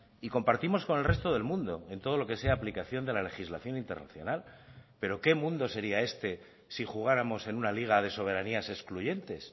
y compartimos con el resto del mundo en todo lo que sea aplicación de la legislación internacional pero qué mundo sería este si jugáramos en una liga de soberanías excluyentes